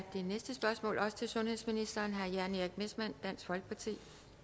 det næste spørgsmål er også til sundhedsministeren af herre jan erik messmann dansk folkeparti